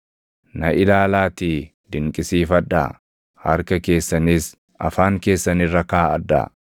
Na ilaalaatii dinqisiifadhaa; harka keessanis afaan keessan irra kaaʼadhaa.